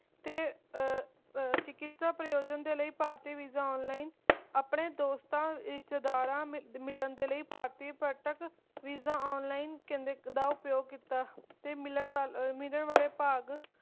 ਤੇ ਚਿਕਿਸਤਾ ਪ੍ਰਯੋਜਨ ਦੇ ਲਈ ਭਾਰਤੀ Visa Online ਆਪਣੇ ਰਿਸ਼ਤੇਦਾਰਾਂ ਦੋਸਤਾਂ ਮਿਲਣ ਦੇ ਲਈ ਭਾਰਤੀ Visa Online ਪਰਯਟਕ ਦਾ ਪ੍ਰਯੋਗ ਕੀਤਾ ਤੇ ਮਿਲਣ ਵਾਲੇ ਮਿਲਣ ਵਾਲੇ ਭਾਗ